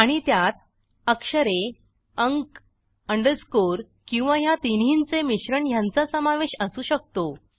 आणि त्यात अक्षरे अंक अंडरस्कोर किंवा ह्या तिन्हींचे मिश्रण ह्यांचा समावेश असू शकतो